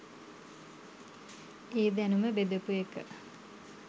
ඒ දැනුම බෙදපු එක